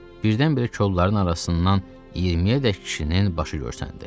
Birdən-birə qollarının arasından 20-yədək kişinin başı görsəndi.